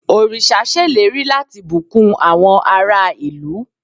oríṣa ṣèlérí lati bukun àwọn ará ìlú